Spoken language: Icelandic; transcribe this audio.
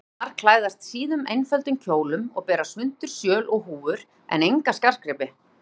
Konurnar klæðast síðum, einföldum kjólum og bera svuntur, sjöl og húfur en enga skartgripi.